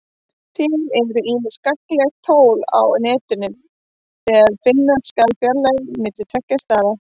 Til eru ýmis gagnleg tól á Netinu þegar finna skal fjarlægðir á milli tveggja staða.